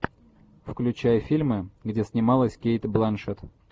включай фильмы где снималась кейт бланшетт